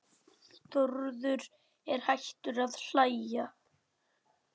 Þórður er hættur að hlæja.